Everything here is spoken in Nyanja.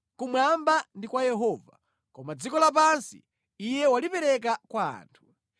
Kumwamba ndi kwa Yehova, koma dziko lapansi Iye walipereka kwa anthu.